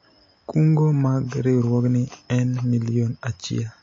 kungo mag riwruogni en milion achiel